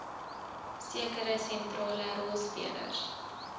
sekere sentrale rolspelers